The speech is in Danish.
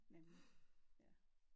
Nemlig ja